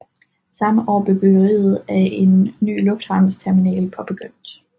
Samme år blev byggeriet af en ny lufthavnsterminal påbegyndt